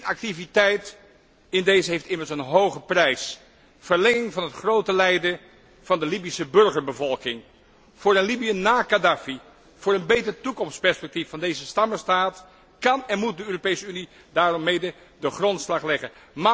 Inactiviteit in dezen heeft immers een hoge prijs verlenging van het grote lijden van de Libische burgerbevolking. Voor een Libië na Khadafi, voor een beter toekomstperspectief van deze stammenstaat kan en moet de Europese Unie mede de grondslag leggen.